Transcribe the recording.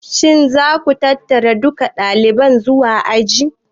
Shin za ku tattara dukan ɗalibai zuwa aji?